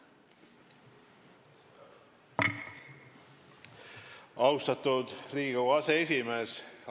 Austatud Riigikogu aseesimees!